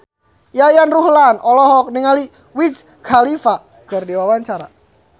Yayan Ruhlan olohok ningali Wiz Khalifa keur diwawancara